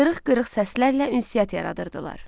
Qırıq-qırıq səslərlə ünsiyyət yaradırdılar.